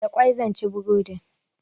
Da ƙwai zan ci burodin.